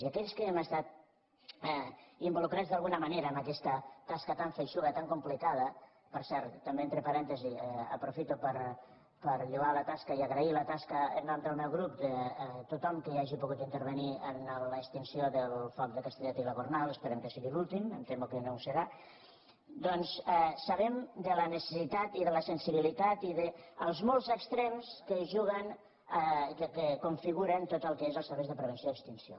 i aquells que hem estat involucrats d’alguna manera en aquesta tasca tan feixuga tan complicada per cert també entre parèntesis aprofi·to per lloar la tasca i agrair la tasca en nom del meu grup de tothom qui hagi pogut intervenir en l’extinció del foc de castellet i la gornal esperem que sigui l’úl·tim em temo que no ho serà sabem de la necessitat i de la sensibilitat i dels molts extrems que juguen que configuren tot el que és els serveis de prevenció i ex·tinció